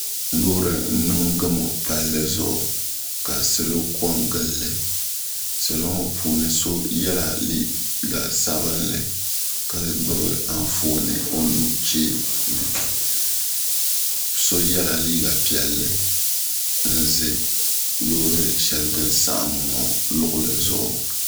Loori n niŋ gamu Palli zuɣu ka salo kongili li salo ŋɔ puuni so yela liiga sabinli ka gbibi anfooni o nuchee ni so yela liiga piɛlli n ʒɛ loori sheli din saɣim ŋɔ luɣili zuɣu.